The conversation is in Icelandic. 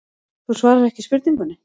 Þú svarar ekki spurningunni.